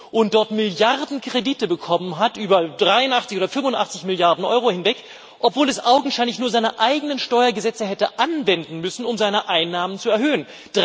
und dort Milliardenkredite bekommen hat, über 83 oder 85 Milliarden Euro hinweg, obwohl es augenscheinlich nur seine eigenen Steuergesetze hätte anwenden müssen, um seine Einnahmen zu erhöhen.